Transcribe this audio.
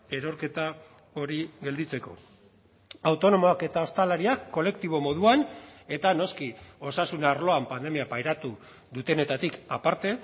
erorketa hori gelditzeko autonomoak eta ostalariak kolektibo moduan eta noski osasun arloan pandemia pairatu dutenetatik aparte